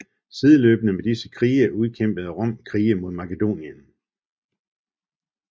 Sideløbende med disse krige udkæmpede Rom krige imod Makedonien